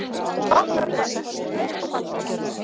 Þú átt mörg börn, hraust og falleg.